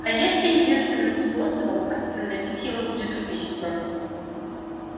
а если единственным способом остановить его будет убийство